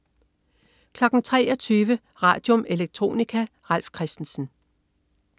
23.00 Radium. Electronica. Ralf Christensen